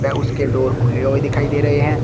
व उसके डोर खुले हुए दिखाई दे रहे हैं।